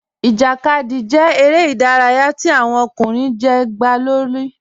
Ijákadì jẹ̀ èrè idàráyà tí awọn ọkùnrin jẹ́ gba lórí.